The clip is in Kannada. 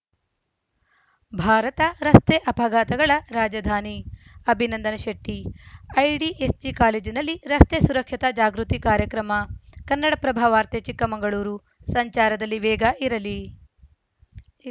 ಭಾರತ ರಸ್ತೆ ಅಪಘಾತಗಳ ರಾಜಧಾನಿ ಅಭಿನಂದನ ಶೆಟ್ಟಿ ಐಡಿಎಸ್‌ಜಿ ಕಾಲೇಜಿನಲ್ಲಿ ರಸ್ತೆ ಸುರಕ್ಷತಾ ಜಾಗೃತಿ ಕಾರ್ಯಕ್ರಮ ಕನ್ನಡಪ್ರಭ ವಾರ್ತೆ ಚಿಕ್ಕಮಗಳೂರು ಸಂಚಾರದಲ್ಲಿ ವೇಗ ಇರಲಿ